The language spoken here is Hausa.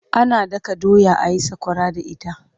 Ana daka doya a yi sakwara da ita.